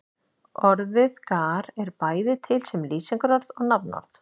Orðið gar er bæði til sem lýsingarorð og nafnorð.